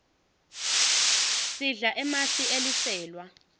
sidla emasi eliselwa